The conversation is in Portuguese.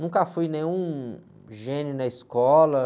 Nunca fui nenhum gênio na escola.